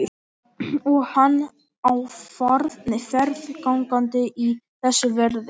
Og hann á ferð gangandi í þessu veðri.